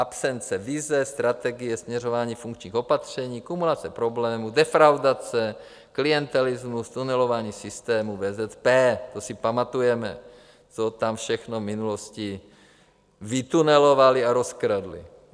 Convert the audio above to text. Absence výzev strategie směřování funkčních opatření, kumulace problémů, defraudace, klientelismus, tunelování systému VZP, to si pamatujeme, co tam všechno v minulosti vytunelovali a rozkradli.